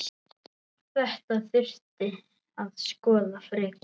Þetta þurfi að skoða frekar.